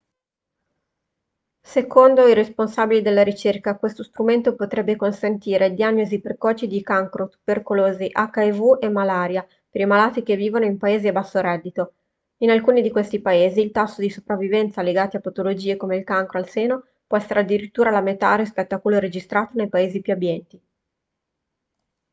secondo i responsabili della ricerca questo strumento potrebbe consentire diagnosi precoci di cancro tubercolosi hiv e malaria per i malati che vivono in paesi a basso reddito in alcuni di questi paesi il tasso di sopravvivenza legati a patologie come il cancro al seno può essere addirittura la metà rispetto a quello registrato nei paesi più abbienti